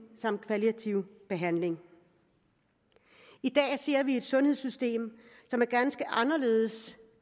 samt kvalitativ behandling i dag ser vi et sundhedssystem som er ganske anderledes